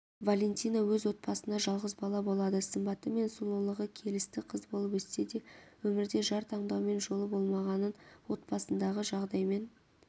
валентина өз отбасында жалғыз бала болады сымбаты мен сұлулығы келісті қыз болып өссе де өмірде жар таңдаумен жолы болмағанын отбасындағы жағдаймен